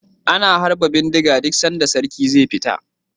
Ana harba bindiga duk sanda sarki ze fita